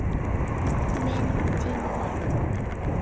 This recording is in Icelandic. Minn tími var kominn.